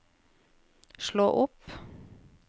slå opp